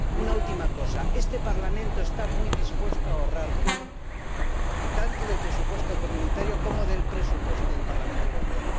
Una última cosa este Parlamento está muy dispuesto a ahorrar dinero, tanto del presupuesto comunitario como del presupuesto del Parlamento Europeo.